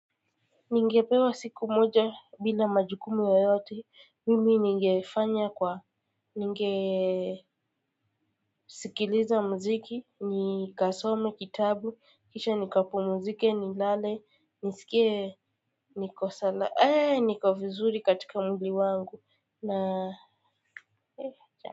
Ningepewa siku moja bila majukumu yoyote, mimi ningefanya kwa ningesi muziki, nikasome kitabu, kisha nikapumzike nilale, nisikie, niko sala, ee, niko vizuri katika mwili wangu.